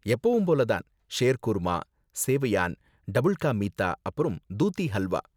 எப்பவும் போல தான், ஷேர்குர்மா, சேவையான், டபுள் கா மீத்தா, அப்புறம் தூதி ஹல்வா.